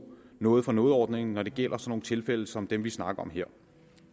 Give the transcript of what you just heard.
noget for noget ordningen når det gælder sådan nogle tilfælde som dem vi snakker om her